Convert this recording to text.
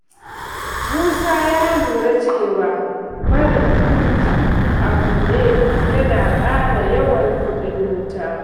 Musa ya lura cewa barin firji a buɗe yana ƙara yawan kuɗin wuta.